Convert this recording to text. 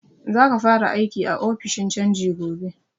Za ka fara aiki a ofishin canji gobe!